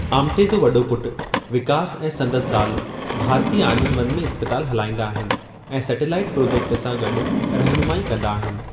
आमटे जे वॾो पुटु, विकास ऐं संदसि ज़ाल, भारती आनंदवन में इस्पतालि हलाईंदा आहिनि ऐं सैटेलाइट प्रोजेक्ट सां गॾु रहनुमाइ कंदा आहिनि।